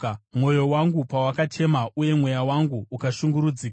Mwoyo wangu pawakachema uye mweya wangu ukashungurudzika,